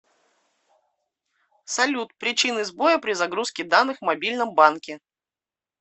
салют причины сбоя при загрузке данных в мобильном банке